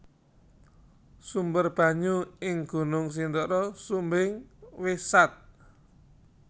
Sumber banyu ing Gunung Sindoro Sumbing wis sat